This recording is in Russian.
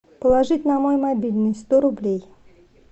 положить на мой мобильный сто рублей